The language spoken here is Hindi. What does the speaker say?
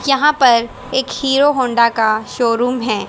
यहां पर एक हीरो होंडा का शोरूम है।